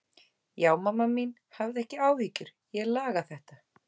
Já, mamma mín, hafðu ekki áhyggjur, ég laga þetta.